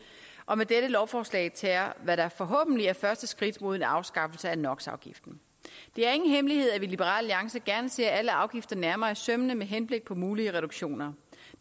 og med dette lovforslag tager hvad der forhåbentlig er første skridt mod en afskaffelse af no det er ingen hemmelighed at vi i liberal alliance gerne ser alle afgifter nærmere efter i sømmene med henblik på mulige reduktioner